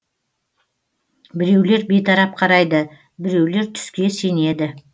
біреулер бейтарап қарайды біреулер түске сенеді